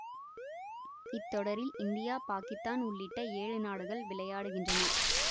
இத்தொடரில் இந்தியா பாக்கித்தான் உள்ளிட்ட ஏழு நாடுகள் விளையாடுகின்றன